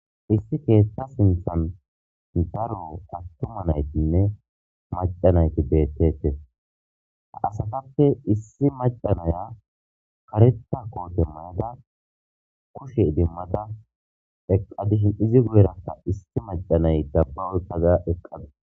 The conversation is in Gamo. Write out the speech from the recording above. Issi keeththa sinthan daro atuma nayitinne maca nayiti beetetes.ha asatappe issi maca naya kareta kote mayada kushe idimada eqqida izipe guye baggan issi maca naya kushe oyiqada eqqadasu